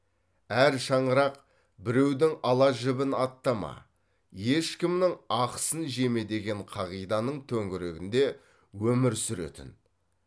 әр шаңырақ біреудің ала жібін аттама ешкімнің ақысын жеме деген қағиданың төңірегінде өмір сүретін